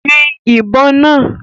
Yìn ìbọn náà!